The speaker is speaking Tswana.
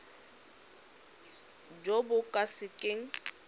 jo bo ka se keng